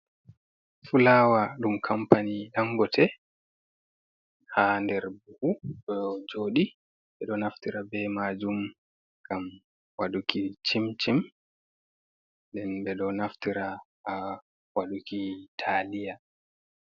Fulawa ɗum kampani dangote ha nder buhu ɗo joɗi, ɓeɗo naftira be majum ngam waɗuki cimcim, nden ɓe ɗo naftira ha waɗuki taliya.